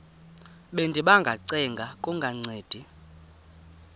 bendiba ngacenga kungancedi